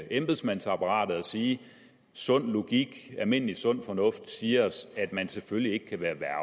embedsmandsapparatet og sige at sund logik og almindelig sund fornuft siger os at man selvfølgelig ikke kan være